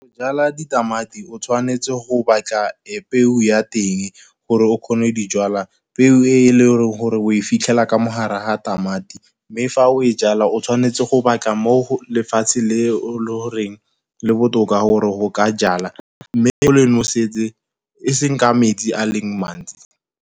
Jala ditamati o tshwanetse go batla peo ya teng gore o kgone dijalwa. Peo e leng gore o e fitlhela ka mogare ga tamati, mme fa o e jala o tshwanetse go batla mo lefatshe le o le goreng le botoka gore go ka jala, mme o le nosetse e seng ka metsi a leng mantsi.